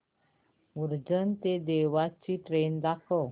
उज्जैन ते देवास ची ट्रेन दाखव